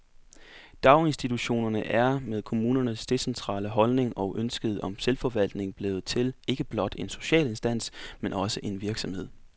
Daginstitutionerne er, med kommunernes decentrale holdning og ønsket om selvforvaltning, blevet til ikke blot en social instans, men også en virksomhed.